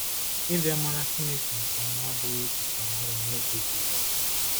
Ịbịa mara Chineke nke ọma abụghị echiche ọhụrụ n’oge Jizọs.